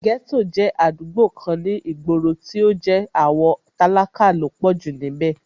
Ghetto jẹ́ àdúgbò kan ní ìgboro, tó jẹ́ àwọn tálákà ló pọ̀jù níbẹ̀